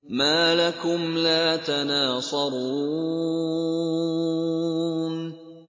مَا لَكُمْ لَا تَنَاصَرُونَ